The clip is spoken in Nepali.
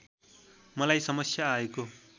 मलाई समस्या आएको